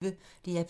DR P1